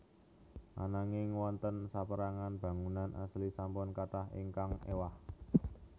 Ananging wonten sapérangan bangunan asli sampun kathah ingkang éwah